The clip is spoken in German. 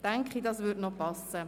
Daher würde es passen.